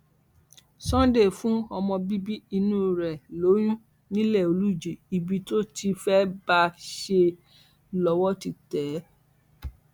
sunday fún ọmọ bíbí inú ẹ lóyún nilé olùjì ibi tó ti fẹẹ bá a ṣe é lọwọ ti tẹ ẹ